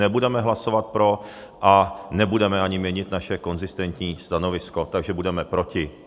Nebudeme hlasovat pro a nebudeme ani měnit naše konzistentní stanovisko, takže budeme proti.